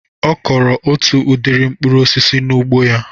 Ọ kọrọ otu udiri mkpụrụ osisi n'ugbo ya